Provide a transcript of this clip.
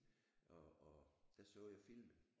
Og og der så jeg filmen